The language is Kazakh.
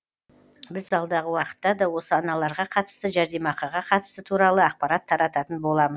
біз алдағы уақытта да осы аналарға қатысты жәрдемақыға қатысты туралы ақпарат тарататын боламыз